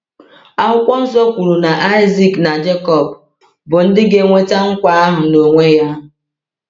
Akwụkwọ Nsọ kwuru na Isaac na Jekọb bụ ndị ga-enweta nkwa ahụ n’onwe ya.